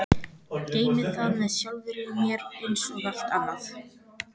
Geymi það með sjálfri mér einsog allt annað.